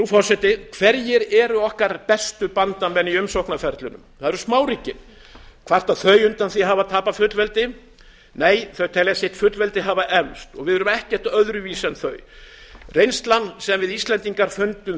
forseti hverjir eru okkar bestu bandamenn í umsóknarferlinu það eru smáríkin kvarta þau undan því að hafa tapað fullveldi nei þau telja sitt fullveldi hafa eflst og við erum ekkert öðruvísi en þau reynslan sem við íslendingar fundum